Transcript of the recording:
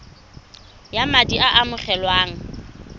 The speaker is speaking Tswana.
ya madi a a amogelwang